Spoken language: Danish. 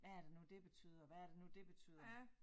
Hvad er det nu det betyder hvad er det nu det betyder